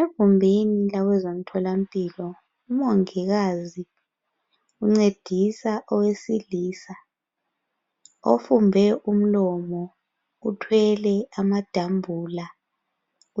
Egumbini labezemtholampilo umongikazi uncedisa owesilisa ofumbe umlomo uthwele amadambula